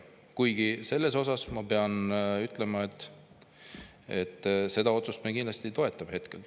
Kuigi ma pean ütlema, et seda otsust me kindlasti toetame.